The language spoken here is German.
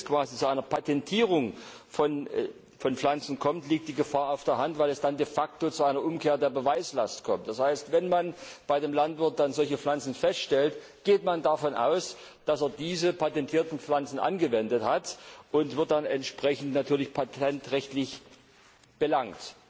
Wenn es quasi zu einer Patentierung von Pflanzen kommt, liegt die Gefahr auf der Hand, weil es dann de facto zu einer Umkehr der Beweislast kommt. Das heißt, wenn man bei dem Landwirt solche Pflanzen feststellt, geht man davon aus, dass er diese patentierten Pflanzen verwendet hat, und er wird dann entsprechend patentrechtlich belangt.